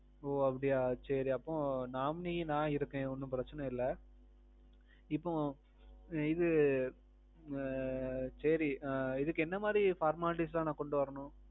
ஓ அப்பிடியா சேரி அப்போ nominee நா இருக்கேன் ஒன்னும் பிரச்சனை இல்ல. இப்போ. இது. ஆ. சேரி. இதுக்கு என்ன மாறி formalities எல்லாம் நான் கொண்டு வரணும்?